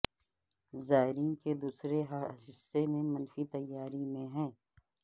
زائرین کے دوسرے حصے پر منفی تیاری میں ہیں